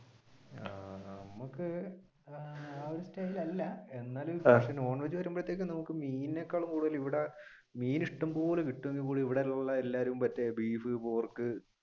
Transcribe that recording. ആഹ് നമുക്ക് ആ ഒരു style അല്ല non veg എന്നാലും മീനെ കാലും കൂടുതൽ ഇവിടെ മീൻ ഇഷ്ടംപോലെ കിട്ടുമെങ്കിൽ കൂടി ഇവിടെയുള്ള എല്ലാവരും മറ്റേ ബീഫ് പോർക്ക്